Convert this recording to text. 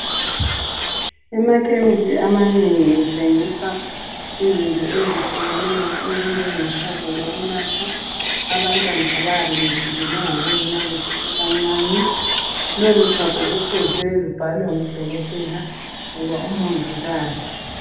Emakhemisi amanengi kuthengiswa izinto ezehlukeneyo ezinjengochago lokunatha abantwana abayabe bejikelwe ngabonina besesebancane lolu chago lufuze lubhalwe ngudokotela loba umongikazi.